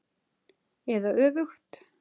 Eða öfugt.